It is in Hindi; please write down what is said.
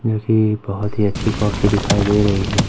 मुझे बहुत ही अच्छी कॉफ़ी दिखाई दे रही है।